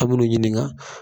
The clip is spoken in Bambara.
A bi n'u ɲininka